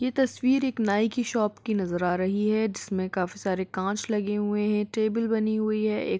ये तस्वीर एक नाई की शॉप की नजर आ रही है जिसमें काफी सारे काँच लगे हुए हैं टेबल बनी हुई है एक।